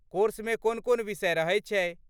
कोर्समे कोन कोन विषय रहैत छै?